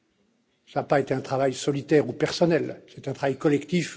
Cela n'a pas été un travail solitaire ou personnel, c'est un travail collectif.